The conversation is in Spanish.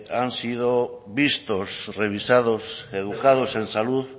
han sido vistos revisados educados en salud